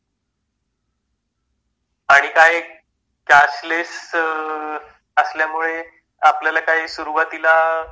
आणि काय कॅशलेस असल्यामुळे आपल्याला काही सुरुवातीला पैसे वगैरे नाही म्हणावं लागणार ना